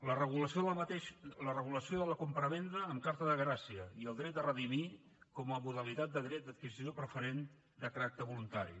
la regulació de la compravenda amb carta de gràcia i el dret de redimir com a modalitat de dret d’adquisició preferent de caràcter voluntari